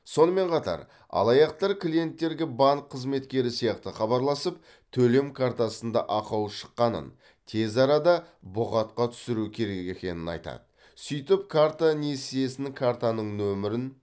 сонымен қатар алаяқтар клиенттерге банк қызметкері сияқты хабарласып төлем картасында ақау шыққанын тез арада боғатқа түсүру керек екенін айтады сөйтіп картаның иесінен картаның нөмірін